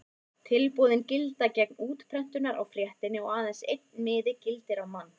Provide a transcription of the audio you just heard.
Tilboðin gilda gegn útprentunar á fréttinni og aðeins einn miði gildir á mann.